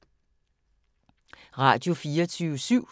Radio24syv